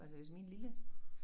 Altså hvis min lille